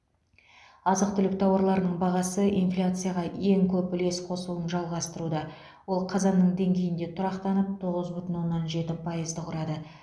азық түлік тауарларының бағасы инфляцияға ең көп үлес қосуын жалғастыруда ол қазанның деңгейінде тұрақтанып тоғыз бүтін оннан жеті пайызды құрады